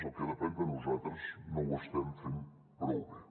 el que depèn de nosaltres no ho estem fent prou bé